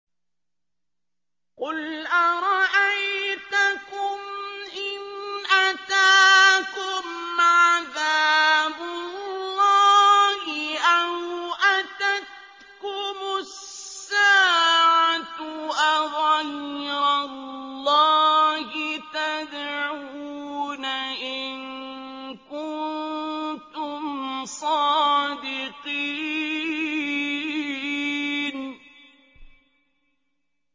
قُلْ أَرَأَيْتَكُمْ إِنْ أَتَاكُمْ عَذَابُ اللَّهِ أَوْ أَتَتْكُمُ السَّاعَةُ أَغَيْرَ اللَّهِ تَدْعُونَ إِن كُنتُمْ صَادِقِينَ